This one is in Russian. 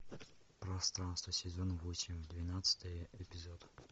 пространство сезон восемь двенадцатый эпизод